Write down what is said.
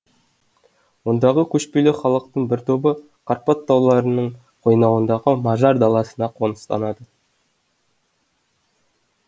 ондағы көшпелі халықтың бір тобы карпат тауларының қойнауындағы мажар даласына қоныстанады